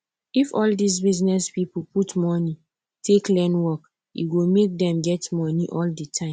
if all these business people put money take learn work e go make dem get money all the time